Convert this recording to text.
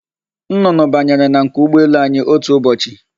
Nnụnụ banyere na nku ụgbọelu anyi otu ụbọchị.